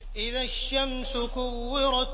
إِذَا الشَّمْسُ كُوِّرَتْ